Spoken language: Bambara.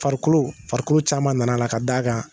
Farikolo farikolo caman nana a la ka d'a kan